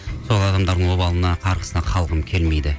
сол адамдардың обалына қарғысына қалғым келмейді